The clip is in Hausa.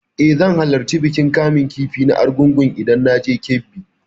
Eh, zan halarci bikin kamun kifi na argungu idan na je Kebbi.